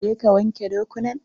Je ka wanke dokunan!